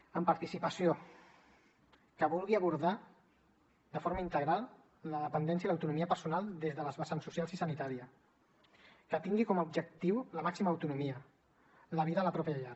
amb participació que vulgui abordar de forma integral la dependència i l’autonomia personal des de les vessants social i sanitària que tingui com a objectiu la màxima autonomia la vida a la pròpia llar